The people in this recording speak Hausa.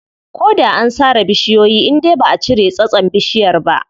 Ko da an sare bishiyoyi indai baʼa cire tsatson bishiyar ba.